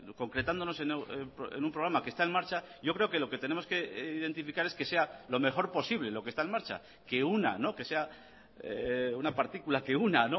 concretándonos en un programa que está en marcha yo creo que lo que tenemos que identificar es que sea lo mejor posible lo que está en marcha que una que sea una partícula que una